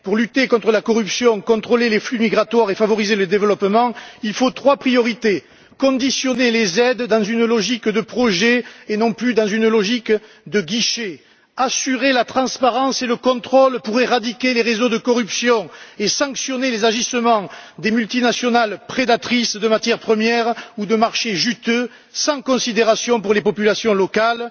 Pour lutter contre la corruption, contrôler les flux migratoires et favoriser le développement, il faut trois priorités conditionner les aides dans une logique de projet et non plus dans une logique de guichet, assurer la transparence et le contrôle pour éradiquer les réseaux de corruption et sanctionner les agissements des multinationales prédatrices de matières premières ou de marchés juteux sans considération pour les populations locales.